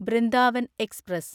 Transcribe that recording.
Brindavan express